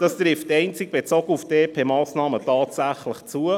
Das trifft einzig bezogen auf die EP-2018Massnahmen zu.